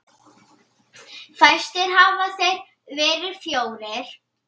Fæstir hafa þeir verið fjórir.